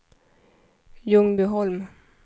Ljungbyholm